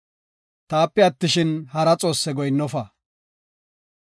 “Taape attishin, hara xoosse goyinnofa.